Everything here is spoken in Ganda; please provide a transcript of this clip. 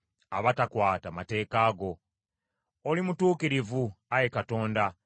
Oli mutuukirivu, Ayi Katonda, era amateeka go matuufu.